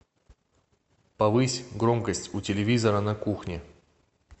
повысь громкость у телевизора на кухне